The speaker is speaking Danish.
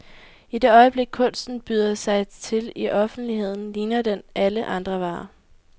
I det øjeblik kunsten byder sig til i offentligheden, ligner den alle andre varer.